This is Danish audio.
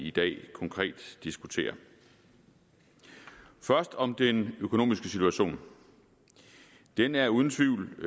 i dag konkret diskuterer først om den økonomiske situation den er uden tvivl